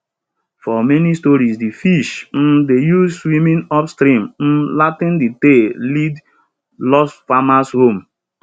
for many stories de fish um dey use swimming upstream um latin tale dey lead lost farmers home